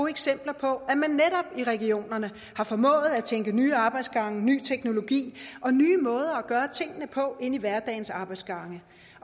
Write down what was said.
eksempler på at man i regionerne har formået at tænke nye arbejdsgange ny teknologi og nye måder at gøre tingene på ind i hverdagens arbejdsgange